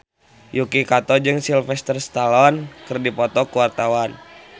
Yuki Kato jeung Sylvester Stallone keur dipoto ku wartawan